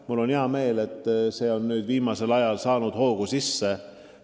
Mul on hea meel, et see töö on viimasel ajal hoo sisse saanud.